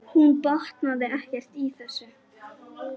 Hún botnaði ekkert í þessu.